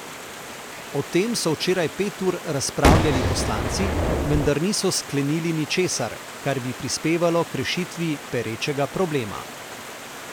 O tem so včeraj pet ur razpravljali poslanci, vendar niso sklenili ničesar, kar bi prispevalo k rešitvi perečega problema.